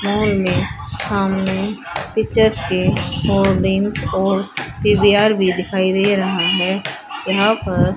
phone में सामने pictures के होर्डिंग और सी_बी_आर भी दिखाई दे रहा है यहां पर--